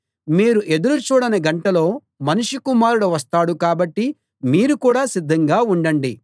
మీరు ఎదురు చూడని గంటలో మనుష్య కుమారుడు వస్తాడు కాబట్టి మీరు కూడా సిద్ధంగా ఉండండి